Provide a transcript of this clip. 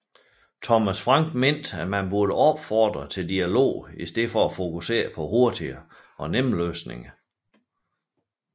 Thomas Frank mente at man burde opfordre til dialog i stedet for at fokusere på hurtige og nemme løsninger